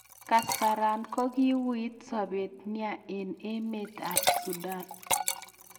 kaasaran kokiwuit sabet nea en emt ab sudan